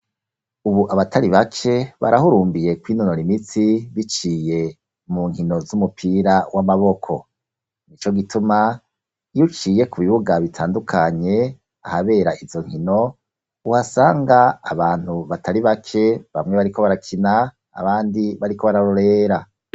Ubu abatari bake, barahurumbiye kwinonora imitsi, biciye mu nkino z'umupira w'amaboko; nico gituma iyo uciye ku bibuga bitandukanye, ahabera izo nkino, uhasanga abantu batari bake, bamwe bariko barakina abandi bariko bararorera.